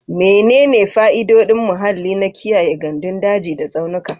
Menene fa'idodin muhalli na kiyaye gandun daji da tsaunuka?